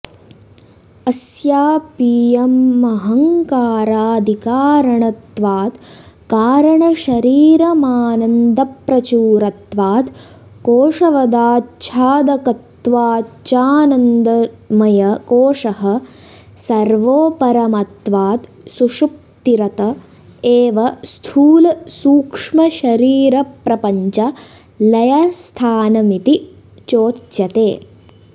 अस्यापीयमहङ्कारादिकारणत्वात् कारणशरीरमानन्दप्रचुरत्वात् कोशवदाच्छादकत्वाच्चानन्दमयकोशः सर्वोपरमत्वात् सुषुप्तिरत एव स्थूलसूक्ष्मशरीरप्रपञ्च लयस्थानमिति चोच्यते